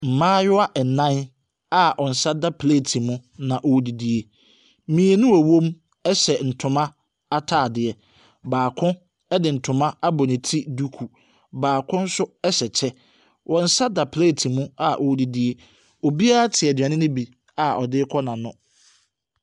Mmaayewa nnan a wɔn nsa da plate mu na wɔredidi. Mmienu a wɔwɔm ɛhyɛ ntoma ataadeɛ, baako de ntoma abɔ ne ti duku, baako nso ɛhyɛ kyɛ. Wɔn nsa da plate mu a wɔredidi. Obiara ate aduane no bi a ɔde rekɔ n’ano.